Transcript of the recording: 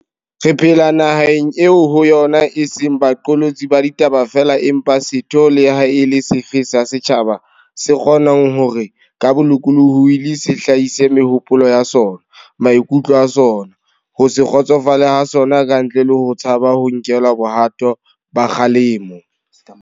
Re phela naheng eo ho yona e seng ba qolotsi ba ditaba feela empa setho le ha e le sefe sa setjhaba se kgo nang hore, ka bolokolohi, se hlahise mehopolo ya sona, maikutlo a sona, ho se kgotsofale ha sona ka ntle le ho tshaba ho nkelwa bohato ba kgalemo.